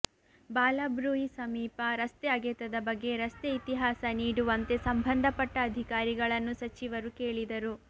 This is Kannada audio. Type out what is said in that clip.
ಬಾಲಬ್ರೂಯಿ ಸಮೀಪ ರಸ್ತೆ ಅಗೆತದ ಬಗ್ಗೆ ರಸ್ತೆ ಇತಿಹಾಸ ನೀಡುವಂತೆ ಸಂಬಂಧಪಟ್ಟ ಅಧಿಕಾರಿಗಳನ್ನು ಸಚಿವರು ಕೇಳಿದರು